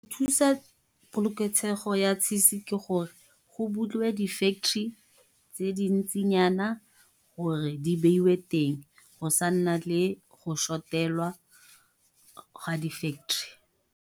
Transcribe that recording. Thusa poloketshego ya cheese ke gore, go bulwe di factory tse dintsinyana, gore di beiwe teng. Go sa nna le go shotelwa ga di factory.